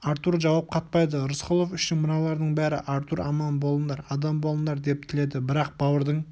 артур жауап қатпайды рысқұлов үшін мыналардың бәрі артур аман болыңдар адам болыңдар деп тіледі бірақ бауырдың